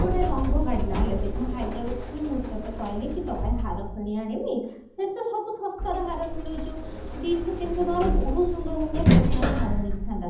ଗୋଟେ ରଙ୍ଗ କାଢିଲା ହେଲା ଦେଖ ମୁଁ ହାଇଦ୍ରାବାଦ ଥିଲି ମୁଁ ତୋ କହିଲି କି ତୋ ପାଇଁ ହାର କିଣି ଆଣିବି ସେଇଠି ତୋ ସବୁ ଶସ୍ତା ରେ ହାର ମିଳୁଛି ଦୁଈଶହ ତିନିଶହ ଟଙ୍କାରେ ରେ ବହୁତ ସୁନ୍ଦର ସୁନ୍ଦର tesnary ହାର ମିଳିଥାନ୍ତା